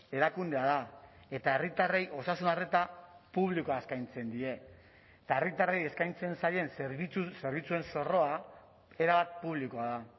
erakundea da eta herritarrei osasun arreta publikoa eskaintzen die eta herritarrei eskaintzen zaien zerbitzuen zorroa erabat publikoa da